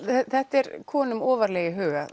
þetta er konum ofarlega í huga